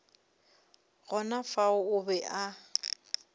gona fao o be a